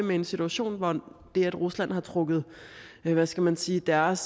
vi i en situation hvor det at rusland har trukket hvad skal man sige deres